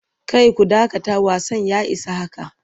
Kai ku dakata wasan ya isa haka!